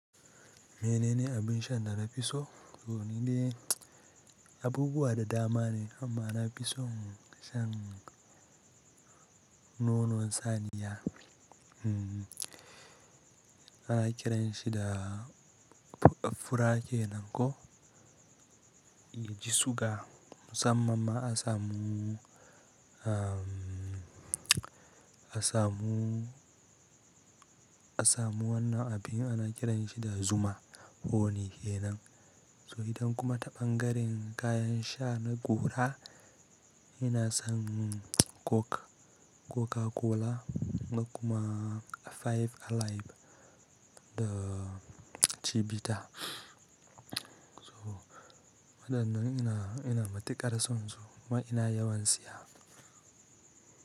Mene ne abin shan da na fi so? To ni dai, abubuwa da dama ne amma na fi son shan nonon saniya. Hmmm, ana kiranshi da fura kenan ko yaji suga. Musamman ma a samu, a samu, a samu wannan abin ana kiranshi da Zuma honey kenan. To idan kuma ta bangaren kayan sha na gora, ina son Coke, Coca-Cola da kuma Five Alive da Chivita. To waɗannan ina, ina matuƙar son su. Kuma ina yawan siya.